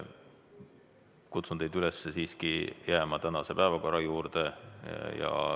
Kutsun teid üles siiski jääma tänase päevakorra juurde.